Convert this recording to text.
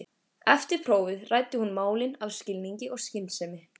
Eftir prófið ræddi hún málin af skilningi og skynsemi.